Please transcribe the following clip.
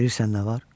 Bilirsən nə var?